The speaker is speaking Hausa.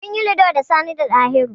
Min yi Ludo da Sani da Ɗahiru.